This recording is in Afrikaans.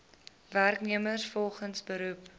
werknemers volgens beroep